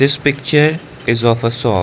this picture is of a shop.